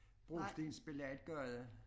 Brostensbelagt gade